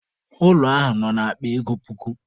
Ụlọ ahụ nọ na akpa ego puku.